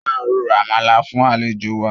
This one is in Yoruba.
A máa ro àmàlà fún àlejò wa